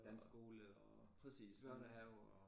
Dansk skole og børnehave og